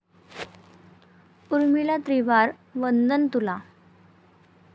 उर्मिला त्रिवार वंदन तुला